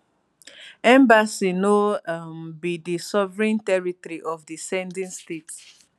embassy no um be di sovereign territory of di sending state